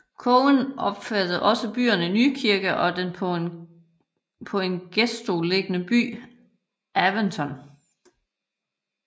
Kogen omfattede også byerne Nykirke og den på en gestø liggende by Aventoft